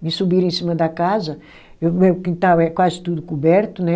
me subiram em cima da casa, meu quintal é quase tudo coberto, né?